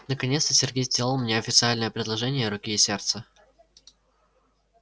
наконец-то сергей сделал мне официальное предложение руки и сердца